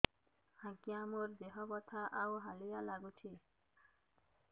ଆଜ୍ଞା ମୋର ଦେହ ବଥା ଆଉ ହାଲିଆ ଲାଗୁଚି